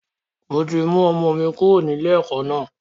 Mo ti mú ọmọ mi kúrò ní ilé ẹ̀kọ́ náà.